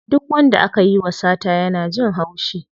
Duk wanda akayi wa sata yana jin haushi.